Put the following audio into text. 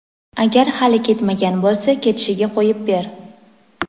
agar hali ketmagan bo‘lsa ketishiga qo‘yib ber.